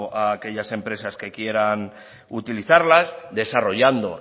a aquellas empresas que quieren utilizarla desarrollando